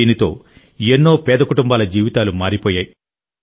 దీంతో ఎన్నో పేద కుటుంబాల జీవితాలు మారిపోయాయి